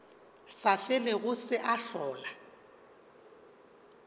sa felego se a hlola